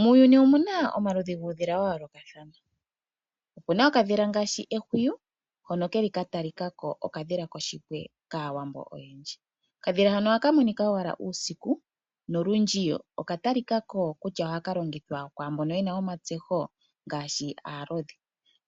Muuyuni omu na omaludhi guudhila ga yoolokathana. Omu na okadhila ngaashi ehwiyu hono ke li ka talika ko okadhila koshipwe kAawambo oyendji. Okadhila hono ohaka monika owala uusiku nolundji okatalika ko kutya ohaka longithwa kwaa mbono ye na uunkulungu ngaashi aalodhi.